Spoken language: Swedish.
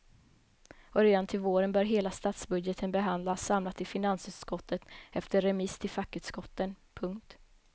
Och redan till våren bör hela statsbudgeten behandlas samlat i finansutskottet efter remiss till fackutskotten. punkt